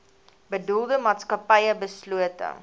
bedoelde maatskappy beslote